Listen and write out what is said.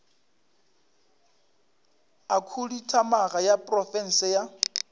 a khuduthamaga ya profense a